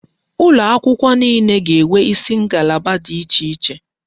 Ụlọ akwụkwọ niile ga-enwe isi ngalaba dị iche iche.